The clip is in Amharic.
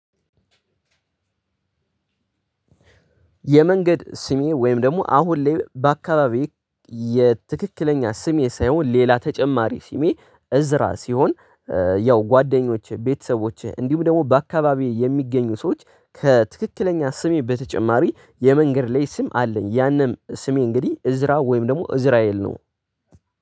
የመንገድ ስሜ ወይም ደግሞ አሁን ላይ በአካባቢየ የትክክለኛ ስሜ ሳይሆን ሌላ ተጨማሪ ስሜ እዝራ ሲሆን ያው ጓደኞቼ ቤተሰቦቼ እንዲሁም ደግሞ በአካባቢየ የሚገኙ ሰዎች ከትክክለኛ ስሜ በተጨማሪ የመንገድ ላይ ስም አለኝ። ያንን ስሜ እንግዲህ እዝራ ወይም ደግሞ እዝራኤል ነው።